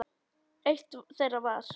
Eitt þeirra var